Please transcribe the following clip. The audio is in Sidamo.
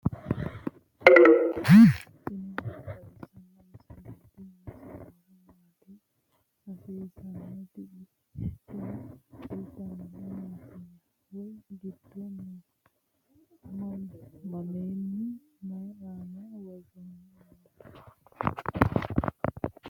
tini maa xawissanno misileeti ? mulese noori maati ? hiissinannite ise ? tini kultannori mattiya? Wayi may giddo noo? mamiho? May aanna worrenna nooho?